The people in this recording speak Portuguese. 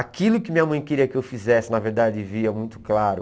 Aquilo que minha mãe queria que eu fizesse, na verdade, via muito claro.